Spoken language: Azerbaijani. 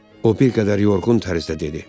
O bir qədər yorğun tərzdə dedi.